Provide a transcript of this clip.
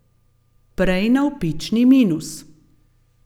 Prej navpični minus.